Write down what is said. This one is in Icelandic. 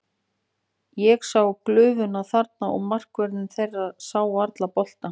Ég sá glufu þarna og markvörðurinn þeirra sá varla boltann.